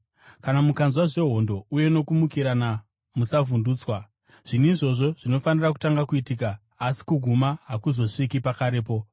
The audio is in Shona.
Kana mukanzwa zvehondo uye nokumukirana, musavhundutswa. Zvinhu izvozvi zvinofanira kutanga kuitika, asi kuguma hakuzosviki pakarepo.”